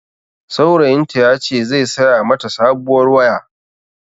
Saurayin ta ya ce zai saya ma ta sabuwar waya